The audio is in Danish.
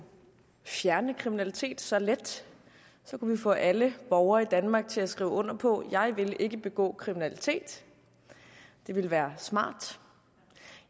fjerne kriminalitet så let så kunne vi få alle borgere i danmark til at skrive under på jeg vil ikke begå kriminalitet det ville være smart